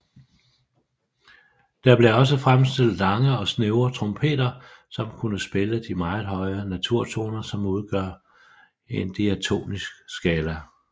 Der blev også fremstillet lange og snævre trompeter som kunne spille de meget høje naturtoner som udgør en Diatonisk skala